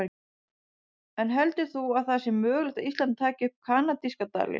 En heldur þú að það sé mögulegt að Ísland taki upp kanadíska dalinn?